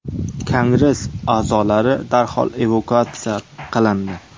Kongress a’zolari darhol evakuatsiya qilindi.